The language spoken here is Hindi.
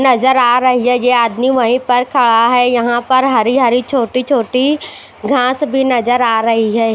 नजर आ रही है ये आदमी वहीं पर खड़ा है यहाँ पर हरी-हरी छोटी-छोटी घास भी नजर आ रही है।